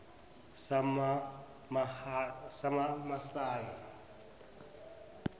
samamasayi